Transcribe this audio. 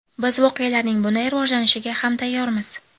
Biz voqealarning bunday rivojlanishiga ham tayyormiz.